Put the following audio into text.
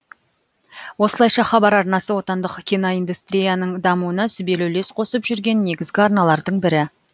осылайша хабар арнасы отандық киноиндустрияның дамуына сүбелі үлес қосып жүрген негізгі арналардың бірі